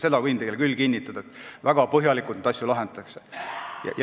Seda ma võin küll teile kinnitada, et neid asju lahendatakse väga põhjalikult.